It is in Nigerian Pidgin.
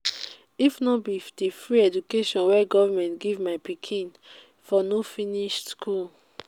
if no be di free education wey government give my pikin for no finish school.